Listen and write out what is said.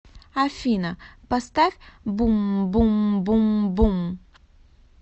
афина поставь бум бум бум бум